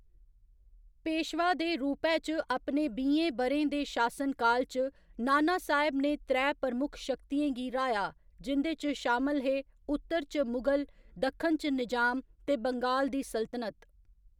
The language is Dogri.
पेशवा दे रूपै च अपने बीहें ब'रें दे शासनकाल च, नानासाहेब ने त्रै प्रमुख शक्तियें गी र्‌हाया जिं'दे च शामल हे उत्तर च मुगल, दक्खन च निजाम ते बंगाल दी सल्तनत।